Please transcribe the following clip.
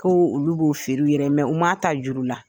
Ko olu b'o feere u yɛrɛ ye u man ta juru la.